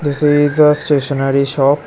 This is a stationery shop. .